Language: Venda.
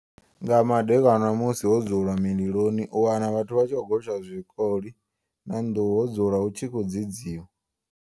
Nga madekwana musi ho dzulwa mililoni u wana vhathu vha tshi khou gotsha tshikoli na nḓuhu ho dzulwa hu tshi khou dzedziwa.